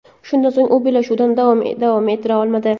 Shundan so‘ng u bellashuvni davom ettira olmadi.